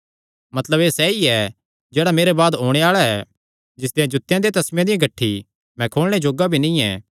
मतलब एह़ सैई ऐ जेह्ड़ा मेरे बाद ओणे आल़ा ऐ जिसदेयां जूत्तेयां दे तस्मेआं दियां गठ्ठी मैं खोलणे जोग्गा भी नीं ऐ